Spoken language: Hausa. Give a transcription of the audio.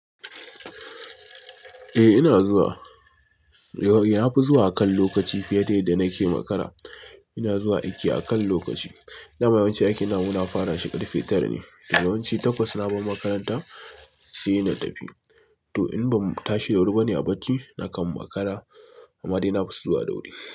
Eh ina zuwa, na fi zuwa akan lokaci fiye da yadda nake makara. Ina zuwa aiki akan lokaci. Dama yawanci aikin namu muna fara shi ƙarfe tara ne. Daga yawanci takwas na bar makaranta sai na tafi. To in bamu tashi da wuri bane a bacci, nakan makara amma dai na fi zuwa da wuri.